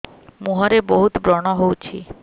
ମୁଁହରେ ବହୁତ ବ୍ରଣ ହଉଛି